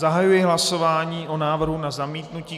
Zahajuji hlasování o návrhu na zamítnutí.